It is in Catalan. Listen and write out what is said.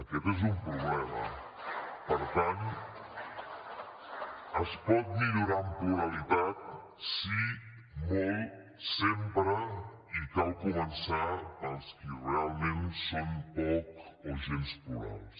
aquest és un problema per tant es pot millorar en pluralitat sí molt sempre i cal començar per als qui realment són poc o gens plurals